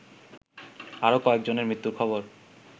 আরো কয়েকজনের মৃত্যুর খবর